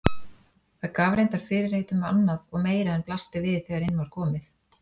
Það gaf reyndar fyrirheit um annað og meira en blasti við þegar inn var komið.